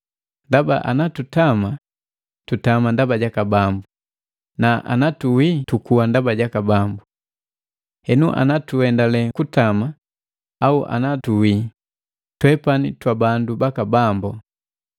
Ndaba ana tutama ndaba jaka Bambu, na ana tuwi tukuwa ndaba jaka Bambu. Henu ana tuendale kutama au anna tuwi, twepani twabandu baka Bambu.